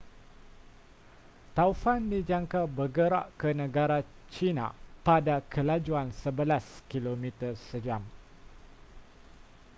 taufan dijangka bergerak ke negara china pada kelajuan sebelas kmj